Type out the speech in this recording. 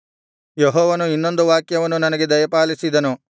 ಯೆಹೋವನು ಇನ್ನೊಂದು ವಾಕ್ಯವನ್ನು ನನಗೆ ದಯಪಾಲಿಸಿದನು